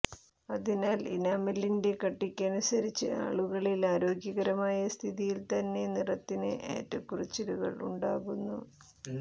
അതിനാൽ ഇനാമലിന്റെ കട്ടിക്കനുസരിച്ച് ആളുകളിൽ ആരോഗ്യകരമായ സ്ഥിതിയിൽത്തന്നെ നിറത്തിന് ഏറ്റക്കുറച്ചിലുകൾ ഉണ്ടാകുന്നു